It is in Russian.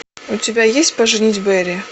у тебя есть поженить бэрри